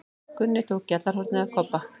Gunni tók gjallarhornið af Kobba.